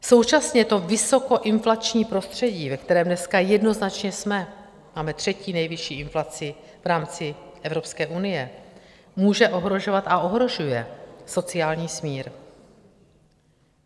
Současně to vysokoinflační prostředí, ve kterém dneska jednoznačně jsme, máme třetí nejvyšší inflaci v rámci Evropské unie, může ohrožovat a ohrožuje sociální smír.